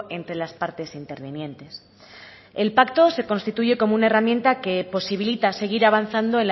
entre las partes intervinientes el pacto se constituye como una herramienta que posibilita seguir avanzando